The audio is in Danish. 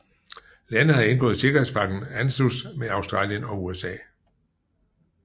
Landet har indgået sikkerhedspagten ANZUS med Australien og USA